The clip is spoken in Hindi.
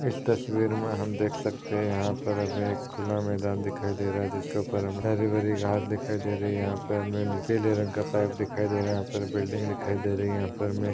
इस तस्वीर मे हम देख सखते है यहा पर हमे खुला मैदान दिखाई दे रहा है जिसके उपर हमे हरि भरी घास दिखाई दे रही है यहा पे हमे पीले रंग का पाइप दिखाई दे रहा है यहा पर बिल्डिंग दिखाई दे रही है यहा पर हमे--